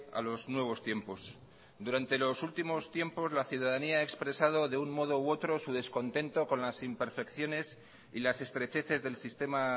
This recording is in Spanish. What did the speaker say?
a los nuevos tiempos durante los últimos tiempos la ciudadanía ha expresado de un modo u otro su descontento con las imperfecciones y las estrecheces del sistema